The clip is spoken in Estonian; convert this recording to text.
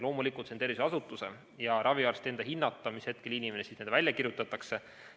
Loomulikult, see on tervishoiuasutuse ja raviarsti hinnata, mis hetkel inimene välja kirjutatakse.